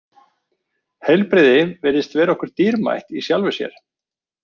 Heilbrigði virðist vera okkur dýrmætt í sjálfu sér.